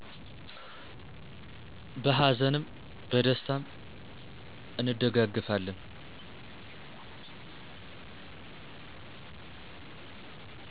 በሀዘንም በደስታም እንደጋገፋለን